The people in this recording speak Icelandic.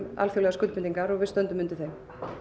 alþjóðlegar skuldbindingar og við stöndum undir þeim